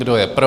Kdo je pro?